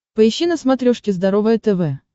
поищи на смотрешке здоровое тв